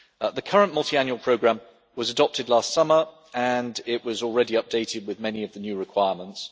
The current multiannual programme was adopted last summer and it was already updated with many of the new requirements.